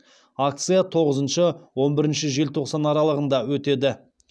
акция тоғызыншы он бірінші желтоқсан аралығында өтеді